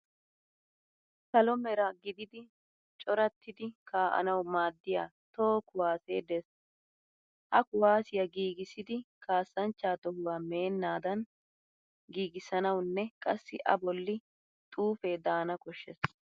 Salo Mera gididi corattiddi kaa'nawu maaddiya toho kuwaasee de'es. Ha kuwaasiya giigissiddi kaassanchcha tohuwa meennaban giigissanawunne qassi a bolli xuufee daana koshshes.